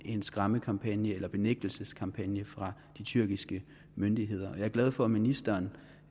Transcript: en skræmmekampagne eller benægtelseskampagne fra de tyrkiske myndigheder jeg er glad for at ministeren